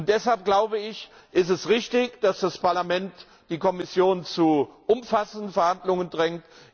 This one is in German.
Deshalb, glaube ich, ist es richtig, dass das Parlament die Kommission zu umfassenden Verhandlungen drängt.